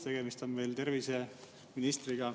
Tegemist on meil terviseministriga.